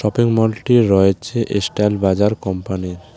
এই মলটি রয়েছে এস্টাইল বাজার কোম্পানির।